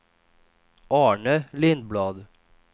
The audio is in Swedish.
Arne Lindblad